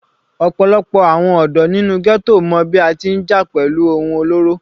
Ọ̀pọ̀lọpọ̀ àwọn ọ̀dọ́ nínú ghetto mọ bí a ti ń jà pẹ̀lú ohun olóró.